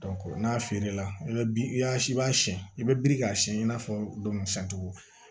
n'a feerela i bɛ bin i y'a si i b'a siɲɛn i bɛ biriki k'a siyɛn i n'a fɔ cogo